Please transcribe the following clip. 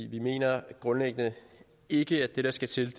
vi mener grundlæggende ikke at det der skal til